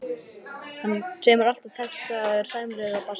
Hann semur alla texta og er sæmilegur á bassa.